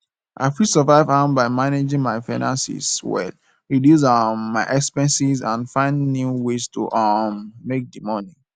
i fit survive am by managing my finances well reduce um my expenses and find new ways to um make di money